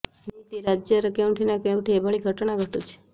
ନିଇତି ରାଜ୍ୟର କେଉଁଠି ନା କେଉଁଠି ଏଭଳି ଘଟଣା ଘଟୁଛି